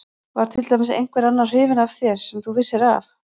Var til dæmis einhver annar hrifinn af þér sem þú vissir af?